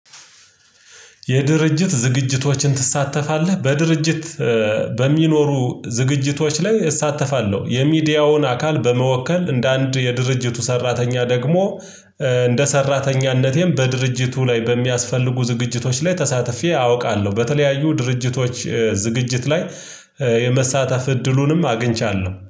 የድርጅት ዝግጅቶችን ትሳተፋለህ? በድርጅት በሚኖሩ ዝግጅቶች ላይ እሳተፋለሁ የሚዲያውን አካል በመወከል እንደ አንድ የድርጅቱ ሰራተኛ ደግሞ እንደ ሰራተኛነቴም በድርጅቱ ላይ በሚያስፈልጉ ዝግጅቶች ላይ ተሳትፌ አውቃለሁ። በተለያዩ ድርጅቶች ዝግጅት ላይ የመሳተፍ እድሉንም አግኝቻለሁ